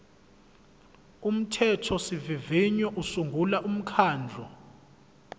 umthethosivivinyo usungula umkhandlu